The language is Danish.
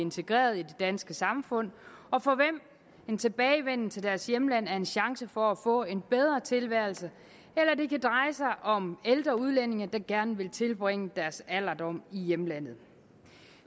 integreret i det danske samfund og for hvem en tilbagevenden til deres hjemland er en chance for at få en bedre tilværelse eller det kan dreje sig om ældre udlændinge der gerne vil tilbringe deres alderdom i hjemlandet